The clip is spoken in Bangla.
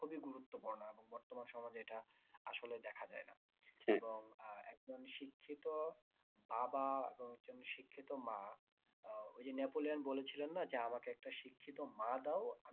খুবই গুরুত্বপূর্ণ এবং বর্তমান সমাজে এটা আসলে দেখা যায় না আহ একজন শিক্ষিত বাবা এবং একজন শিক্ষিত মা আহ ওইযে নেপোলিয়ান বলেছিলেন না যে শিক্ষিত মা দাও